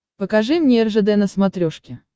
покажи мне ржд на смотрешке